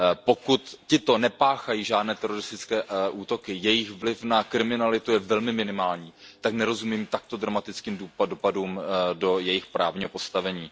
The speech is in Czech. Pokud tito nepáchají žádné teroristické útoky, jejich vliv na kriminalitu je velmi minimální, tak nerozumím takto dramatickým dopadům do jejich právního postavení.